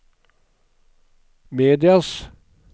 medias